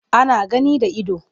Ana gani da ido.